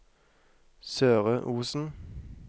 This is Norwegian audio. Søre Osen